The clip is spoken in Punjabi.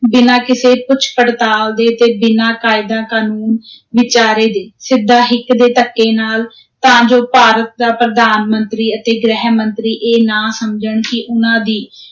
ਬਿਨਾਂ ਕਿਸੇ ਪੁੱਛ-ਪੜਤਾਲ ਦੇ ਤੇ ਬਿਨਾਂ ਕਾਇਦਾ ਕਾਨੂੰਨ ਵਿਚਾਰੇ ਦੇ, ਸਿੱਧਾ ਹਿੱਕ ਦੇ ਧੱਕੇ ਨਾਲ, ਤਾਂ ਜੋ ਭਾਰਤ ਦਾ ਪ੍ਰਧਾਨ ਮੰਤਰੀ ਅਤੇ ਗ੍ਰਹਿ ਮੰਤਰੀ ਇਹ ਨਾ ਸਮਝਣ ਕਿ ਉਨ੍ਹਾਂ ਦੀ